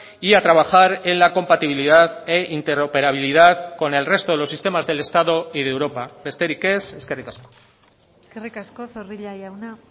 y a trabajar en la compatibilidad e interoperabilidad con el resto de los sistemas del estado y de europa besterik ez eskerrik asko eskerrik asko zorrilla jauna